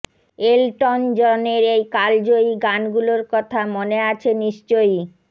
Elton জনের এই কালজয়ী গানগুলোর কথা মনে আছে নিশ্চয়ই